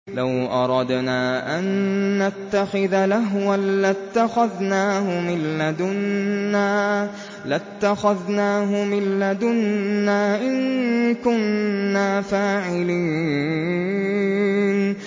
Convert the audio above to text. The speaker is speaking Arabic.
لَوْ أَرَدْنَا أَن نَّتَّخِذَ لَهْوًا لَّاتَّخَذْنَاهُ مِن لَّدُنَّا إِن كُنَّا فَاعِلِينَ